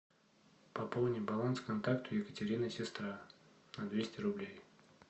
пополни баланс контакту екатерина сестра на двести рублей